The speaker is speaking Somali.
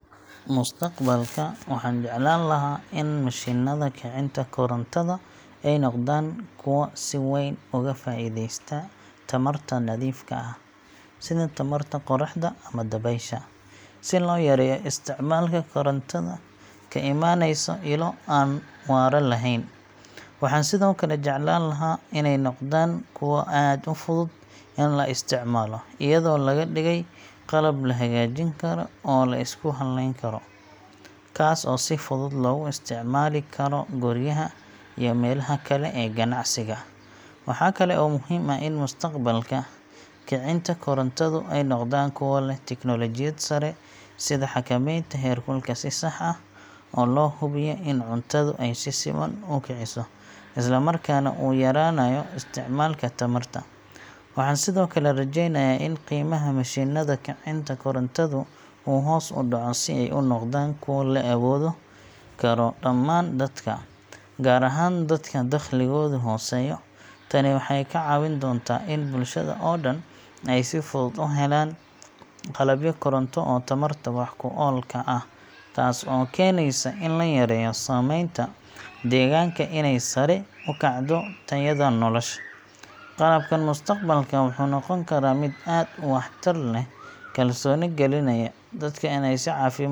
Mustaqbalka, waxaan jeclaan lahaa in mishiinnada kicinta korontada ay noqdaan kuwo si weyn uga faa'iideysta tamarta nadiifka ah, sida tamarta qoraxda ama dabaysha, si loo yareeyo isticmaalka korontada ka imanaysa ilo aan waara lahayn. Waxaan sidoo kale jeclaan lahaa in ay noqdaan kuwo aad u fudud in la isticmaalo, iyadoo laga dhigay qalab la hagaajin karo oo la isku halleyn karo, kaas oo si fudud loogu isticmaali karo guryaha iyo meelaha kale ee ganacsiga. Waxa kale oo muhiim ah in mustaqbalka, kicinta korontadu ay noqdaan kuwo leh teknoolojiyad sare, sida xakamaynta heerkulka si sax ah oo loo hubiyo in cuntadu ay si siman u kiciso, isla markaana uu yaraanayo isticmaalka tamarta. Waxaan sidoo kale rajeynayaa in qiimaha mishiinnada kicinta korontadu uu hoos u dhaco si ay u noqdaan kuwo la awoodi karo dhammaan dadka, gaar ahaan dadka dakhligoodu hooseeyo. Tani waxay ka caawin doontaa in bulshada oo dhan ay si fudud u helaan qalabyo koronto oo tamarta wax ku oolka ah, taas oo keenaysa in la yareeyo saameynta deegaanka iyo inay sare u kacdo tayada nolosha. Qalabkan mustaqbalka wuxuu noqon karaa mid aad u waxtar leh, kalsooni gelinaya dadka inay si caafimaad leh u kiciyaan cuntadooda.